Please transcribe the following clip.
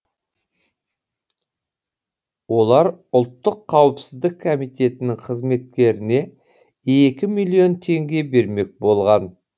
олар ұлттық қауіпсіздік комитетінің қызметкеріне екі миллион теңге бермек болған